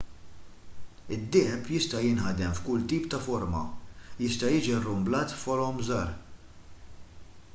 id-deheb jista' jinħadem f'kull tip ta' forma jista' jiġi rrumblat f'forom żgħar